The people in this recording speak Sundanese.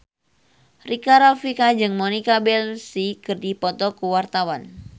Rika Rafika jeung Monica Belluci keur dipoto ku wartawan